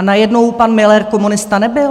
A najednou pan Müller komunista nebyl?